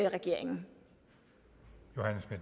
at regeringen